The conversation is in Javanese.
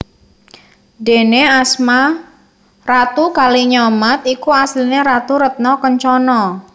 Déné asma Ratu Kalinyamat iku asliné Ratu Retna Kencana